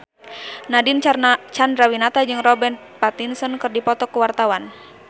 Nadine Chandrawinata jeung Robert Pattinson keur dipoto ku wartawan